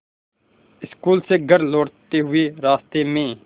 school से घर लौटते हुए रास्ते में